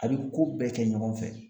A bi ko bɛɛ kɛ ɲɔgɔn fɛ